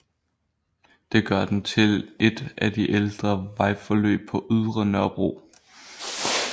Det gør den til et af de ældre vejforløb på Ydre Nørrebro